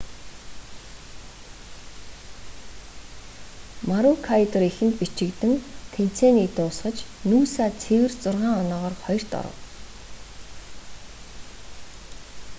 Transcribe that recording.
марүүкайдор эхэнд бичигдэн тэмцээнийг дуусгаж нүүса цэвэр зургаан оноогоор хоёрт оров